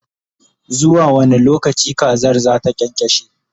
zuwa wani lokaci kazar zata kyankyashe?